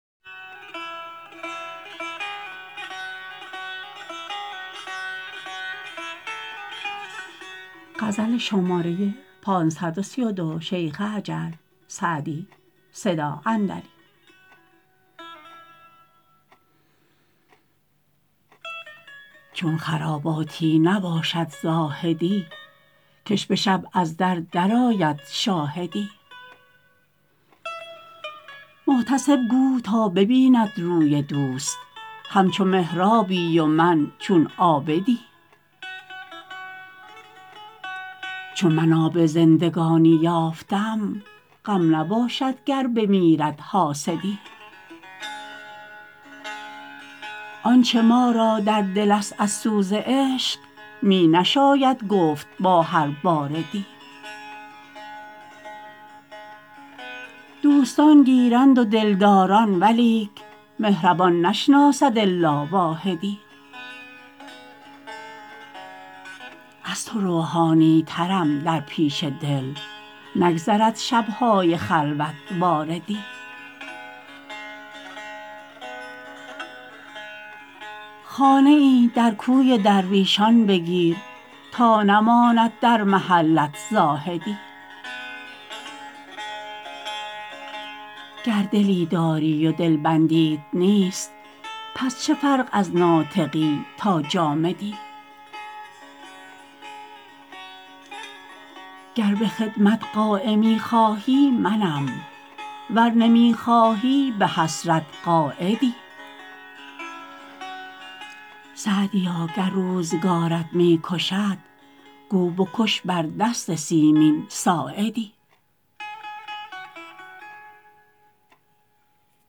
چون خراباتی نباشد زاهدی که ش به شب از در درآید شاهدی محتسب گو تا ببیند روی دوست همچو محرابی و من چون عابدی چون من آب زندگانی یافتم غم نباشد گر بمیرد حاسدی آنچه ما را در دل است از سوز عشق می نشاید گفت با هر باردی دوستان گیرند و دلداران ولیک مهربان نشناسد الا واحدی از تو روحانی ترم در پیش دل نگذرد شب های خلوت واردی خانه ای در کوی درویشان بگیر تا نماند در محلت زاهدی گر دلی داری و دلبندیت نیست پس چه فرق از ناطقی تا جامدی گر به خدمت قایمی خواهی منم ور نمی خواهی به حسرت قاعدی سعدیا گر روزگارت می کشد گو بکش بر دست سیمین ساعدی